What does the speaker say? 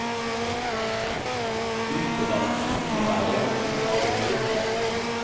Gruppedannelsen innebærer at gruppa blir en gruppe.